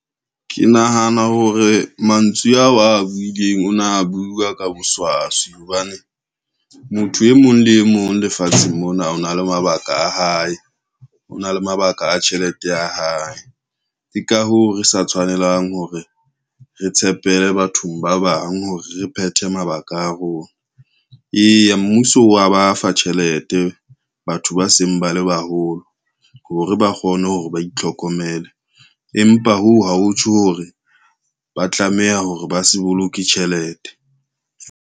Ke nahana hore mantswe ao a buileng o na bua ka boswaswi hobane, motho e mong le e mong lefatsheng mona o na le mabaka a hae, o na le mabaka a tjhelete ya hae. Ke ka hoo re sa tshwanelang hore re tshepele bathong ba bang hore re phethe mabaka a rona. Eya mmuso wa ba fa tjhelete batho batho ba seng bale baholo hore ba kgone hore ba itlhokomele, empa hoo ha ho tjho hore ba tlameha hore ba se boloke tjhelete.